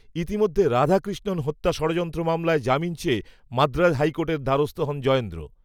ইতিমধ্যে রাধাকৃষ্ণন হত্যা ষড়যন্ত্র মামলায় জামিন চেয়ে মাদ্রাজ হাইকোর্টের দ্বারস্থ হন জয়েন্দ্র